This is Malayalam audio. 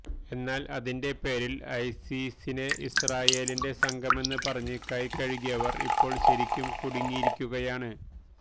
എന്നാല് അതിന്റെ പേരില് ഐസിസിനെ ഇസ്രായേലിന്റെ സംഘമെന്ന് പറഞ്ഞ് കൈകഴുകിയവര് ഇപ്പോള് ശരിയ്ക്കും കുടുങ്ങിയിരിക്കുകയാണ്